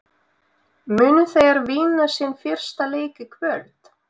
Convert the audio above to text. Munu þeir vinna sinn fyrsta leik í kvöld?